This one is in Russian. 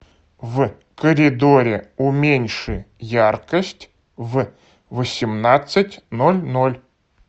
в коридоре уменьши яркость в восемнадцать ноль ноль